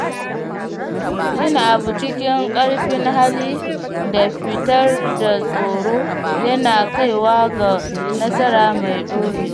Yin abu cikin ƙarfin hali da fitar da tsoro yana kaiwa ga nasara mai ɗorewa.